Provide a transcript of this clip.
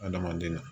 Adamaden na